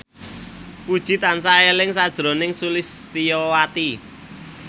Puji tansah eling sakjroning Sulistyowati